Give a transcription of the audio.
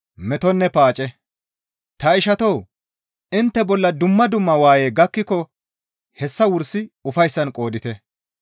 Ta ishatoo! Intte bolla dumma dumma waayey gakkiko hessa wursi ufayssan qoodite.